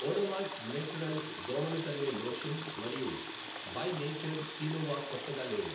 Odomos naturals దోమలు తరిమే lotion మరియు బై నేచర్ కీనోవ కొత్తగా లేవు.